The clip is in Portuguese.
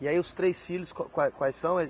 E aí os três filhos, qu qua quais são? Eles